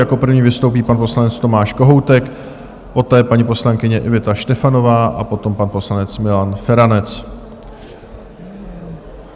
Jako první vystoupí pan poslanec Tomáš Kohoutek, poté paní poslankyně Iveta Štefanová a potom pan poslanec Milan Feranec.